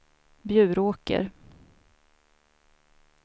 Bjuråker